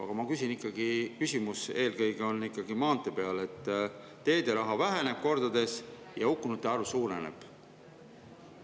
Aga mu küsimus on eelkõige ikkagi maanteede kohta, sest teeraha väheneb kordades ja hukkunute arv suureneb.